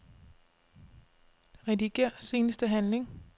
Rediger seneste handling.